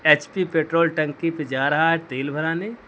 HP petrol टंकी पे जा रहा है तेल भराने।